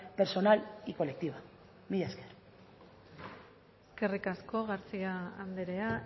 personal y colectiva mila esker eskerrik asko garcía andrea